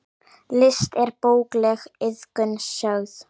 List er bókleg iðkun sögð.